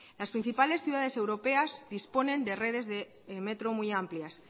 las principales ciudades europeas disponen de redes de metro muy amplias